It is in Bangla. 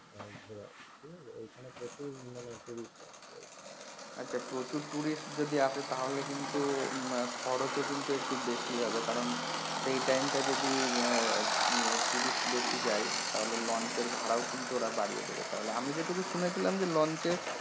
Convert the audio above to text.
আচ্ছা প্রচুর tourist যদি আসে তাহলে কিন্তু হম খরচও কিন্তু একটু বেশি হবে কারণ সেই time টা যদি উহ উহ tourist বেশি যায় তাহলে launch এর ভাড়াও কিন্তু ওরা বাড়িয়া দেবে তাহলে আমি যেটুকু শুনেছিলাম যে launch এ